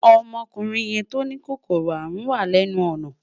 Ọmọkùnrin yẹn tó ní kòkòrò àrùn wà lẹ́nu ọ̀nà